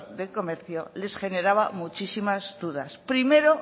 de comercio les generaba muchísimas dudas primero